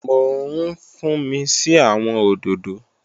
Mò ń fúnmi sí àwọn òdòdó